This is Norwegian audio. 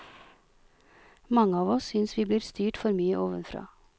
Mange av oss synes vi blir styrt for mye ovenfra.